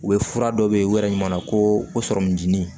U bɛ fura dɔ bɛ yen u yɛrɛ ɲuman na ko o sɔrɔmu dimi